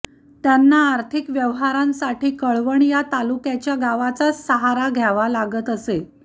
त्यांना आर्थिक व्यवहारांसाठी कळवण या तालुक्याच्या गावाचाच सहारा घ्यावा लागत असे